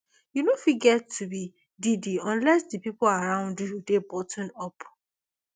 you no fit get to be diddy unless di pipo around you dey buttoned up